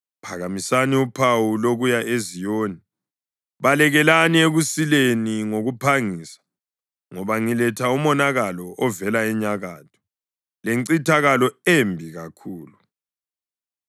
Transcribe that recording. Phakamisani uphawu lokuya eZiyoni! Balekelani ekusileni ngokuphangisa! Ngoba ngiletha umonakalo ovela enyakatho, lencithakalo embi kakhulu.”